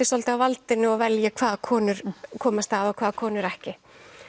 svolítið á valdinu og velji hvaða konur komast að og hvaða konur ekki